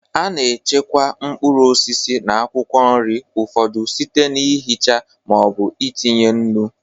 A na-echekwa mkpụrụ osisi na akwụkwọ nri ụfọdụ site n'ihicha ma ọ bụ itinye nnu.